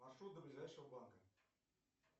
маршрут до ближайшего банка